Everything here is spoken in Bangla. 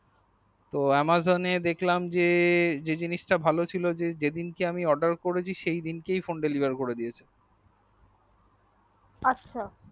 তো amazon এ দেখলাম যে জিনিস তা ভাল ছিল যেদিনকে আমি oda r করছি সেই দিনকেই আমার ফোন daleviour করে দিয়াছে